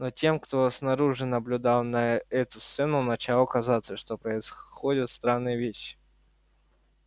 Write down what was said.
но тем кто снаружи наблюдал эту сцену начало казаться что происходят странные вещи